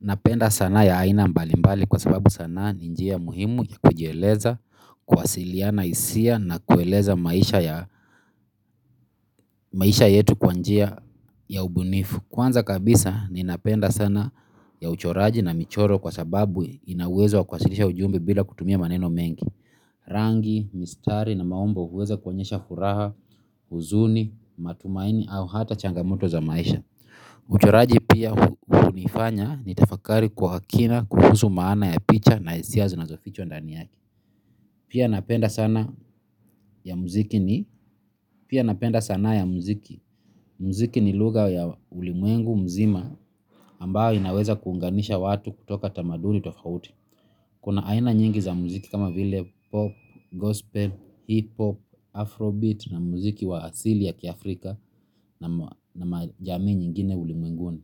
Napenda sanaa ya aina mbalimbali kwa sababu sana ni njia muhimu ya kujieleza, kuwasiliana hisia na kueleza maisha ya maisha yetu kwa njia ya ubunifu. Kwanza kabisa, ninapenda sanaa ya uchoraji na michoro kwa sababu ina uwezo wa kuwasilisha ujumbe bila kutumia maneno mengi. Rangi, mistari na maumbo huweza kuonyesha furaha, huzuni, matumaini au hata changamoto za maisha. Uchoraji pia hunifanya nitafakari kwa kina kuhusu maana ya picha na hisia zinazofichwa ndani yake. Pia napenda sanaa ya muziki, pia napenda sanaa ya muziki. Muziki ni lugha ya ulimwengu mzima ambayo inaweza kuunganisha watu kutoka tamaduni tofauti. Kuna aina nyingi za muziki kama vile pop, gospel, hipop, afrobeat na muziki wa asili ya kiafrika na majamii nyingine ulimwenguni.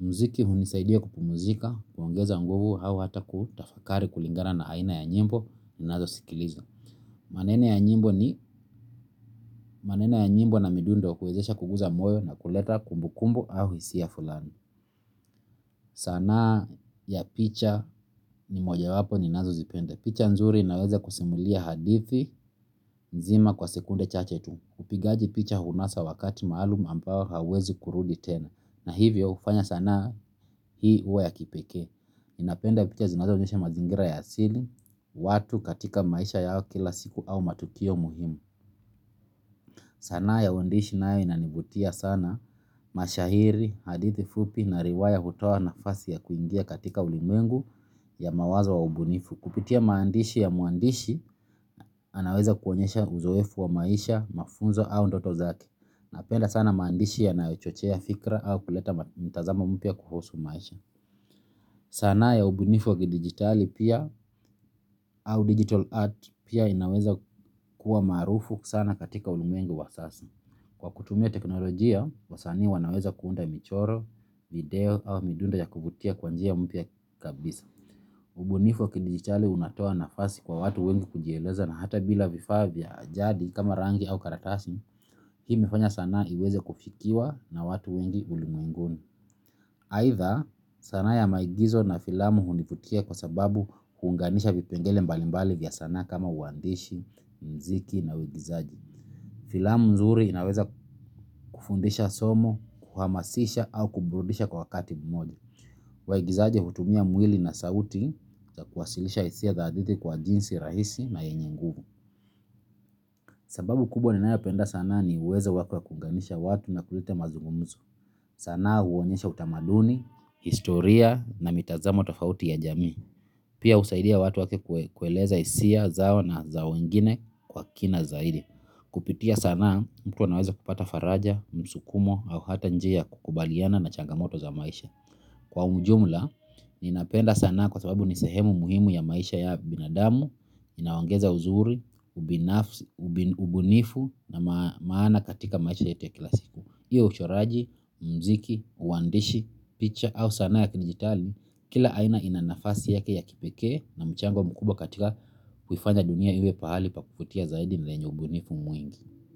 Muziki hunisaidia kupumuzika, kuongeza nguvu au hata kutafakari kulingana na aina ya nyimbo ninazosikiliza. Maneno ya nyimbo ni maneno ya nyimbo na midundo huwezesha kuguza moyo na kuleta kumbukumbu au hisia fulani. Sanaa ya picha ni mojawapo ninazozipenda. Picha nzuri inaweza kusimulia hadithi nzima kwa sekunde chache tu. Upigaji picha hunasa wakati maalum ambao hauwezi kurudi tena. Na hivyo hufanya sanaa hii huwa ya kipekee. Ninapenda picha zinazoonyesha mazingira ya asili. Watu katika maisha yao kila siku au matukio muhimu. Sanaa ya uandishi nayo inanivutia sana. Mashairi, hadithi fupi na riwaya hutoa nafasi ya kuingia katika ulimwengu ya mawazo wa ubunifu. Kupitia maandishi ya mwandishi anaweza kuonyesha uzoefu wa maisha, mafunzo au ndoto zake. Napenda sana maandishi yanayochochea fikra au kuleta mtazamo mpya kuhusu maisha. Sanaa ya ubunifu wa kidijitali pia au digital art pia inaweza kuwa maarufu sana katika ulimwengu wa sasa. Kwa kutumia teknolojia, wasanii wanaweza kuunda michoro, video au midundo ya kuvutia kwa njia mpya kabisa. Ubunifu wa kidijitali unatoa nafasi kwa watu wengi kujieleza na hata bila vifaa vya jadi kama rangi au karakasi, hii imefanya sanaa iweze kufikiwa na watu wengi ulimwenguni. Aitha sanaa ya maigizo na filamu hunivutia kwa sababu huunganisha vipengele mbalimbali vya sanaa kama uandishi, muziki na uigizaji. Filamu mzuri inaweza kufundisha somo, kuhamasisha au kuburudisha kwa wakati mmoja. Waigizaji hutumia mwili na sauti za kuwasilisha hisia za hadithi kwa jinsi rahisi na yenye nguvu. Sababu kubwa ninayopenda sana ni uwezo wake wa kuunganisha watu na kuleta mazungumzo. Sanaa huonyesha utamaduni, historia na mitazamo tofauti ya jamii. Pia husaidia watu wake kueleza hisia zao na za wengine kwa kina zaidi. Kupitia sanaa mtu anaweza kupata faraja, msukumo au hata njia ya kukabiliana na changamoto za maisha. Kwa ujumla, ninapenda sanaa kwa sababu ni sehemu muhimu ya maisha ya binadamu, inaongeza uzuri, ubunifu na maana katika maisha yetu ya kila siku hio uchoraji, muziki, uandishi, picha au sanaa ya kidijitali. Kila aina ina nafasi yake ya kipekee na mchango mkubwa katika kuifanya dunia iwe pahali pakuvutia zaidi na lenye ubunifu mwingi.